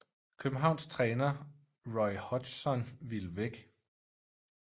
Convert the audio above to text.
Københavns træner Roy Hodgson ville væk